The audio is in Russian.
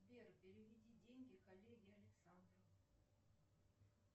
сбер переведи деньги коллеге александру